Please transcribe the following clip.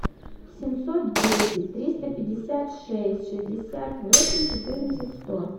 семьсот десять триста пятьдесят шесть шестьдесят восемь четырнадцать сто